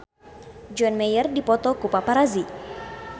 John Mayer dipoto ku paparazi